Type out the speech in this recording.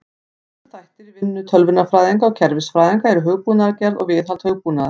Stærstu þættir í vinnu tölvunarfræðinga og kerfisfræðinga eru hugbúnaðargerð og viðhald hugbúnaðar.